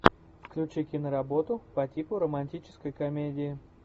включи киноработу по типу романтической комедии